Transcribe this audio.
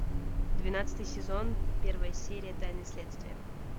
двенадцатый сезон первая серия тайны следствия